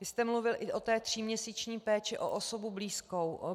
Vy jste mluvil i o té tříměsíční péči o osobu blízkou.